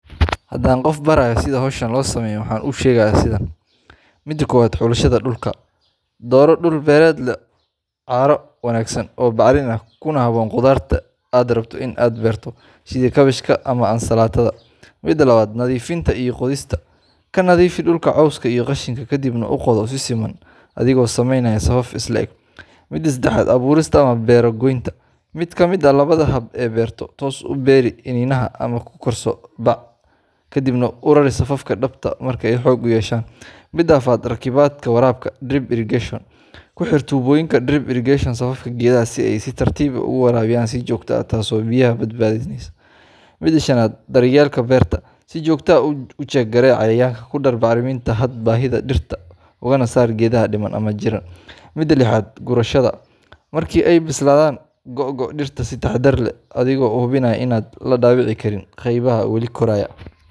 Haddaan qof barayo sida hawshan loo sameeyo, waxaan u sheegayaa sidan:Midaa kowad, Xulashada Dhulka: Dooro dhul beereed leh carro wanaagsan oo bacrin ah, kuna habboon khudaarta aad rabto in aad beerto, sida kaabashka ama ansalaatada. Midaa labaad, Nadiifinta iyo Qodista: Ka nadiifi dhulka cawska iyo qashinka kadibna u qodo si siman, adigoo samaynaya safaf is le’eg. Midaa sedexaad ,Abuurista ama Beero Goynta: Mid ka mid ah labada hab ee beerto toos u beeri iniinaha, ama ku korso bac ah kadibna u rari safafka dhabta ah marka ay xoog yeeshaan. Midaa afaraad, Rakibidda Waraabka Drip Irrigation: Ku xir tuubooyinka drip irrigation safafka geedaha si ay si tartiib ah ugu waraabiyaan si joogto ah, taasoo biyaha badbaadinaysa. Midaa shanaad, Daryeelka Beerta: Si joogto ah u jeeg garee cayayaanka, ku dar bacriminta hadba baahida dhirta, ugana saar geedaha dhiman ama jiran. Midaa lixaad , Gurashada: Markii ay bislaadaan, googo dhirta si taxadar leh adigoo hubinaya in aan la dhaawicin qaybaha weli koraya.